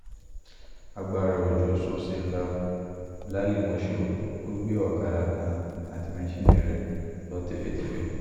agbára òjò ṣọṣẹ́ ńlá lálìímọ́ṣọ̀ọ́, ó gbé ọ̀kadà kan àti maṣínnì rẹ̀ lọ tèfètèfè